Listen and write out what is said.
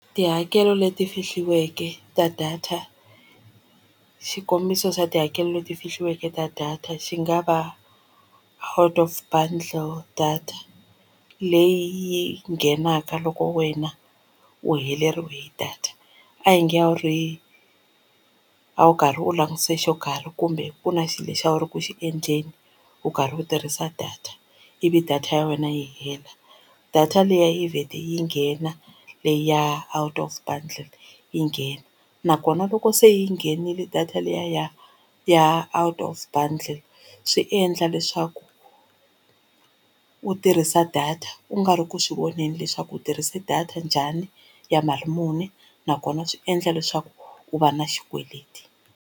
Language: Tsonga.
Tihakelo leti fihliweke ta data xikombiso xa tihakelo leti fihliweke ta data xi nga va out of bundle data leyi yi nghenaka loko wena u heleriwe hi data a hi nge a wu ri a wu karhi u langutise xo karhi kumbe kuna xilo lexi a wu ri ku xi endleni u karhi u tirhisa data ivi data ya wena yi hela data liya yi vhete yi nghena leyi ya out of bundle yi nghena nakona loko se yi nghenile data liya ya ya out of bundle swi endla leswaku u tirhisa data u nga ri ku swi voneni leswaku u tirhise data njhani ya mali muni nakona swi endla leswaku u va na xikweleti.